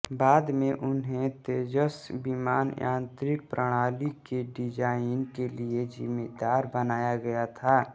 बाद में उन्हें तेजस विमान यांत्रिक प्रणाली के डिजाइन के लिए जिम्मेदार बनाया गया था